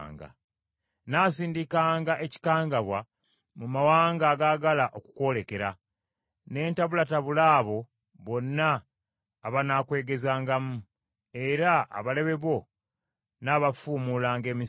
“Nnaasindikanga ekikangabwa mu mawanga agaagala okukwolekera, ne ntabulatabula abo bonna abanaakwegezangamu, era abalabe bo nnaabafuumuulanga emisinde.